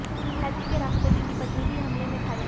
Haiti के राष्ट्रपति की पत्नी भी हमले में घायल